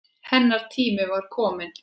Hennar tími var kominn.